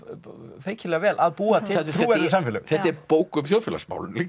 feikilega vel að búa til trúverðug samfélög þetta er bók um þjóðfélagsmál líka